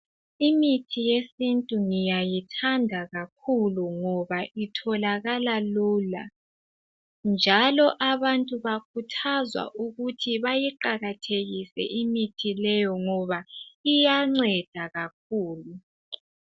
Imithi yesintu ngiyayithanda kakhulu ngoba itholakala lula njalo abantu bayakhuthazwa ukuthi bayiqakathekise imithi leyo ngoba iyanceda kakhulu.